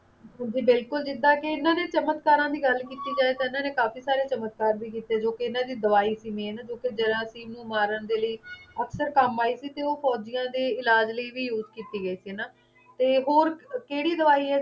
ਜੀ ਬਿਲਕੁਲ ਜਿੱਦਾਂ ਕਿ ਇਨ੍ਹਾਂ ਦੇ ਚਮਤਕਾਰਾਂ ਦੀ ਗੱਲ ਕੀਤੀ ਜਾਏ ਤਾਂ ਇਨ੍ਹਾਂ ਨੇ ਕਾਫੀ ਸਾਰੇ ਚਮਤਕਾਰ ਵੀ ਕੀਤੇ ਜੋ ਕਿ ਇਨ੍ਹਾਂ ਦੀ ਦਵਾਈ ਸੀ ਵੀ ਜੋ ਕਿ ਜਰਾਸੀਮ ਨੂੰ ਮਾਰਨ ਦੇ ਲਈ ਅਕਸਰ ਕੰਮ ਆਈ ਸੀ ਤੇ ਉਹ ਫੌਜੀਆਂ ਦੇ ਇਲਾਜ਼ ਲਈ ਵੀ use ਕੀਤੀ ਗਈ ਸੀ ਹਣਾ ਤੇ ਹੋਰ ਕਿਹੜੀ ਦਵਾਈ ਹੈ